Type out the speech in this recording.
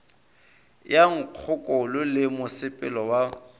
ya nkgokolo le mosepelo wa